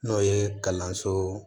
N'o ye kalanso